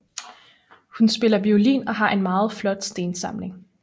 Hun spiller violin og har en meget flot stensamling